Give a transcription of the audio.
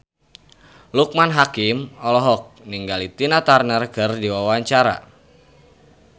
Loekman Hakim olohok ningali Tina Turner keur diwawancara